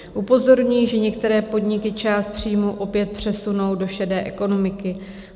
Upozorňují, že některé podniky část příjmů opět přesunul do šedé ekonomiky.